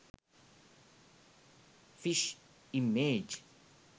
fish image